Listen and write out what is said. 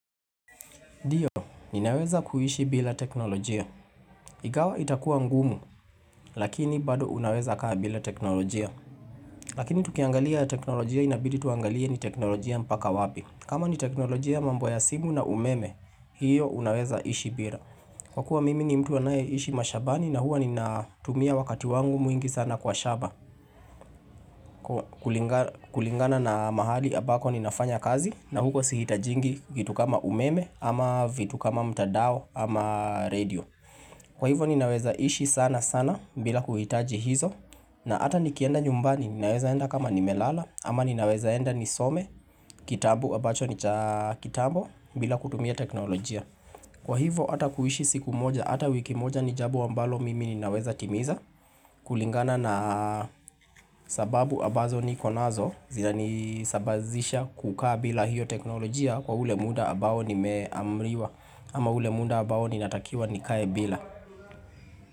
Ndiyo, ninaweza kuishi bila teknolojia. Igawa itakua ngumu, lakini bado unaweza kaa bila teknolojia. Lakini tukiangalia teknolojia inabidi tuangalie ni teknolojia mpaka wapi. Kama ni teknolojia mambo ya simu na umeme, hiyo unaweza ishi bila. Kwa kuwa mimi ni mtu anaye ishi mashabani na huwa ni natumia wakati wangu mwingi sana kwa shaba. Kulingana na mahali abako ninafanya kazi na huko sihitajingi kitu kama umeme, ama vitu kama mtadao ama radio kwa hivo ninaweza ishi sana sana bila kuhitaji hizo na ata nikienda nyumbani ninaweza enda kama nimelala ama ninaweza enda nisome. Kitabu abacho nicha kitambo bila kutumia teknolojia kwa hivo ata kuishi siku moja ata wiki moja ni jabo ambalo mimi ninaweza timiza. Kulingana na sababu abazo niko nazo zinanisabazisha kukaa bila hiyo teknolojia kwa ule muda abao nimeamriwa. Ama ule munda abao ninatakiwa nikae bila.